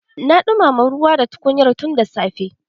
Na dumama ruwa da tukunyar tun da safe.